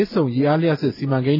စ်ဆုံ ရေအားလျှပ်စစ် စီမံကိန်း